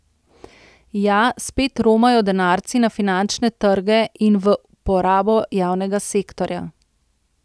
Ja, spet romajo denarci na finančne trge in v porabo javnega sektorja.